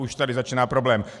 Už tady začíná problém.